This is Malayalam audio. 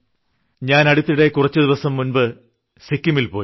ഞാൻ അടുത്തിടെ കുച്ചുദിവസം മുൻപ് സിക്കിമിൽ പോയി